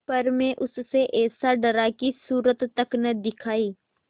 पर मैं उससे ऐसा डरा कि सूरत तक न दिखायी